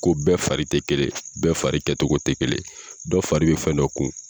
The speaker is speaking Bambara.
Ko bɛɛ fari tɛ kelen bɛɛ fari kɛcogo tɛ kelen dɔ fari bɛ fɛn dɔ kun.